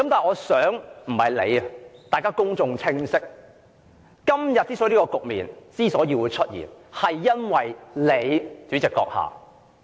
我希望公眾明白，今天之所以出現這個局面，是因為你，主席閣下。